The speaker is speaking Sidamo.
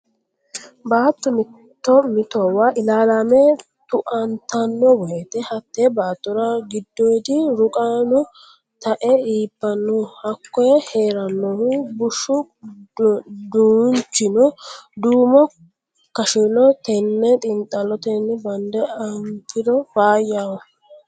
Baatto mitto mittowa ilalame tue tata'ano woyte hatte baattora giddodi ruqano tae iibbano hakko heeranohu bushu dunchino duumo kashiloho tene xiinxallotenni bande anfiro faayyaho.